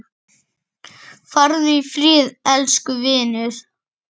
Farðu í friði, elsku vinur.